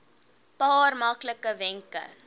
paar maklike wenke